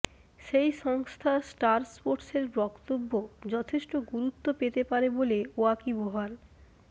সেই সংস্থা স্টার স্পোর্টসের বক্তব্য যথেষ্ট গুরুত্ব পেতে পারে বলে ওয়াকিবহাল